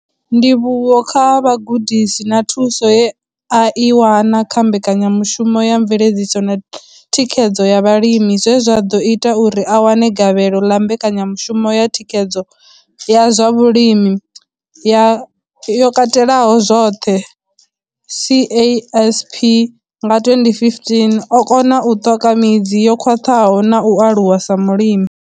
Ndivhuwo kha vhugudisi na thuso ye a i wana kha mbekanyamushumo ya mveledziso na thikhedzo ya vhalimi zwe zwa ḓo ita uri a wane gavhelo ḽa mbekanyamushumo ya thikhedzo ya zwa vhulimi yo katelaho zwoṱhe CASP nga 2015, o kona u ṱoka midzi yo khwaṱhaho na u aluwa sa mulimi.